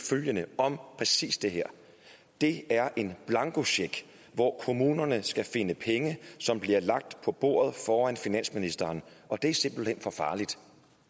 følgende om præcis det her det er en blankocheck hvor kommunerne skal finde penge som bliver lagt på bordet foran finansministeren og det er simpelthen for farligt